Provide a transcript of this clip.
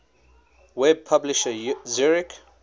web publisher zurich